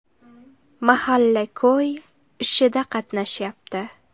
Mahalla-ko‘y ishida qatnashyapti.